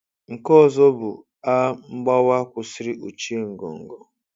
Nke ọzọ bụ: “A mgbawa kwụsịrị ochie ngọngọ.”